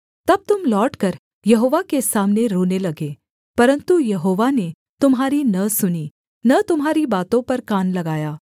तब तुम लौटकर यहोवा के सामने रोने लगे परन्तु यहोवा ने तुम्हारी न सुनी न तुम्हारी बातों पर कान लगाया